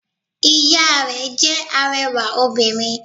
Ìya rẹ̀ jẹ́ arẹwà obìnrin